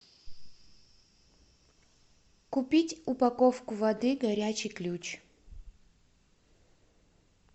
купить упаковку воды горячий ключ